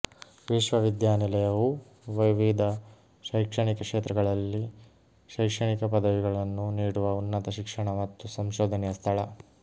ವಿಶ್ವವಿದ್ಯಾನಿಲಯವು ವಿವಿಧ ಶೈಕ್ಷಣಿಕ ಕ್ಷೇತ್ರಗಳಲ್ಲಿ ಶೈಕ್ಷಣಿಕ ಪದವಿಗಳನ್ನು ನೀಡುವ ಉನ್ನತ ಶಿಕ್ಷಣ ಮತ್ತು ಸಂಶೋಧನೆಯ ಸ್ಥಳ